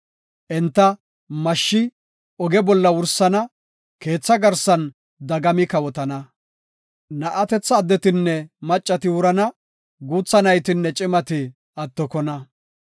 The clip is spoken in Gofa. Enta, mashshi oge bolla wursana; keetha garsan dagami kawotana. Na7atetha addetinne maccati wurana; guutha naytinne cimati attokona.